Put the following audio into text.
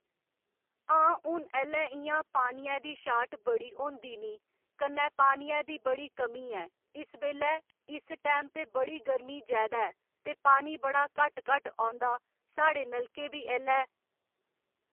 हां हून ऐल्लै इ'यां पानिये दी शार्ट बड़ी होंदी नी कन्नै पानिये दी बड़ी कमी ऐ इस बेल्लै इस टैम ते बड़ी गर्मी जैदा ऐ ते पानी बड़ा घट्ट घट्ट औंदा साढ़े नलकें बी ऐल्लै